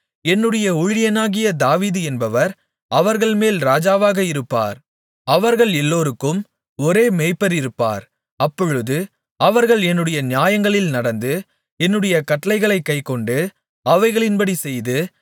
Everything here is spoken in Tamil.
என்னுடைய ஊழியனாகிய தாவீது என்பவர் அவர்கள்மேல் ராஜாவாக இருப்பார் அவர்கள் எல்லோருக்கும் ஒரே மேய்ப்பர் இருப்பார் அப்பொழுது அவர்கள் என்னுடைய நியாயங்களில் நடந்து என்னுடைய கட்டளைகளைக் கைக்கொண்டு அவைகளின்படி செய்து